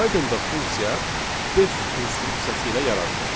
Pythonda funksiya def instruksiyası ilə yaradılır.